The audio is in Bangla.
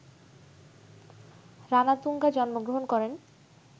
রানাতুঙ্গা জন্মগ্রহণ করেন